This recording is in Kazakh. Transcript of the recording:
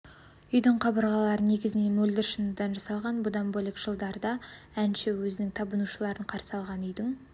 үйдің қабырғалары негізінен мөлдір шыныдан жасалған бұдан бөлек жылдары әнші өзінің табынушыларын қарсы алған үйдің